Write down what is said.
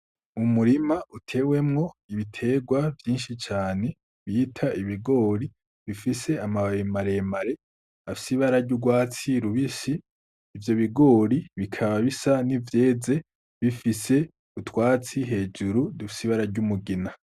Umurima utewemwo ibiterwa vyinshi cane , bita igibori bifise amababi mare mare afise Ibara ry'urwatsi rubisi ,ivyobigori bikaba bisa nk'ivyeze bifise utwatsi hejuru dufise Ibara ry'umugina.